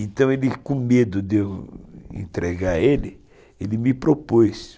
Então ele, com medo de eu entregar ele, ele me propôs.